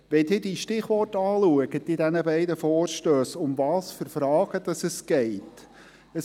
Wenn Sie die Stichworte in diesen beiden Vorstössen anschauen, um welche Fragen geht es: